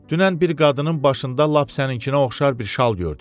Dünən bir qadının başında lap səninkinə oxşar bir şal gördüm.